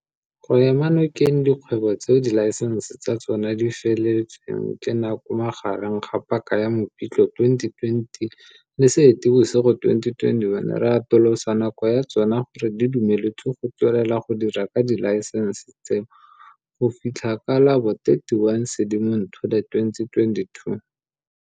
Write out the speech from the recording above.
Go ema nokeng dikgwebo tseo dilaesense tsa tsona di feletsweng ke nako magareng ga paka ya Mopitlwe 2020 le Seetebosigo 2021, re atolosa nako ya tsona gore di dumeletswe go tswelela go dira ka dilaesense tseo go fitlha ka la bo 31 Sedimonthole 2022.